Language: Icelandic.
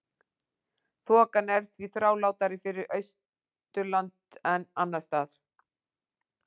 Þokan er því þrálátari við Austurland en annars staðar.